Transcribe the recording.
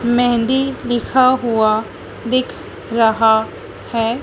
मेहंदी लिखा हुआ दिख रहा है।